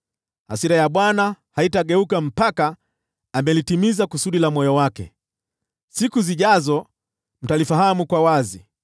Hasira ya Bwana haitageuka mpaka amelitimiza kusudi la moyo wake. Siku zijazo mtalifahamu kwa wazi.